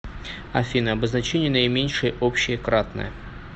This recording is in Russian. афина обозначение наименьшее общее кратное